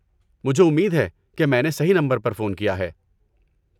مجھے امید ہے کہ میں نے صحیح نمبر پر فون کیا ہے۔